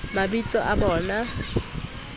mabitsoao o be o a